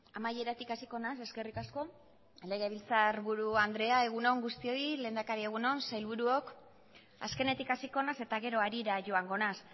amaieratik hasiko naiz eskerrik asko legebiltzarburu andrea egun on guztioi lehendakari egun on sailburuok azkenetik hasiko naiz eta gero harira joango naiz